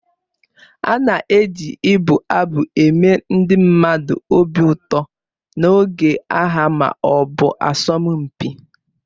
A na-eji ibụ abụ eme ndị mmadụ obi ụtọ n'oge agha ma ọ bụ asọmpi